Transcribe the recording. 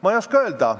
Ma ei oska öelda.